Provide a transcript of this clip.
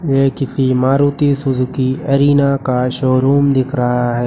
ये किसी Maruti Suzuki Arena का शोरूम दिख रहा है।